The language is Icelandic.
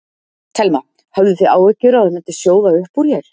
Telma: Höfðuð þið áhyggjur að það myndi sjóða upp úr hér?